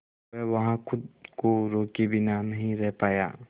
वह वहां खुद को रोके बिना नहीं रह पाया